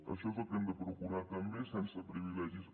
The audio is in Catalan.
això és el que hem de procurar també sense privilegis